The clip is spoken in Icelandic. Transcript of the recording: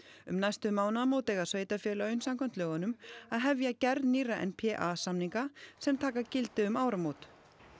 um næstu mánaðamót eiga sveitarfélögin samkvæmt lögunum að hefja gerð nýrra n p a samninga sem taki gildi um áramót